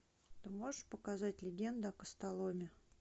ты можешь показать легенда о костоломе